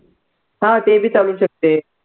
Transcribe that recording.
हा ते बी चालून शकते.